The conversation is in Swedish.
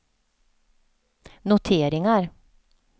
noteringar